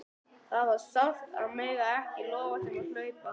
Það var sárt að mega ekki lofa þeim að hlaupa!